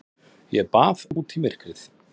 Ég bað út í myrkrið.